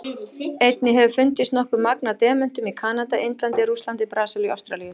Einnig hefur fundist nokkuð magn af demöntum í Kanada, Indlandi, Rússlandi, Brasilíu og Ástralíu.